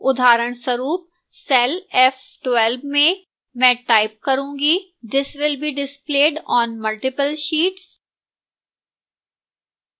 उदाहरणस्वरूप cell f12 में मैं type करूंगी this will be displayed on multiple sheets